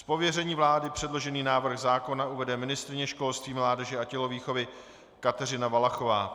Z pověření vlády předložený návrh zákona uvede ministryně školství, mládeže a tělovýchovy Kateřina Valachová.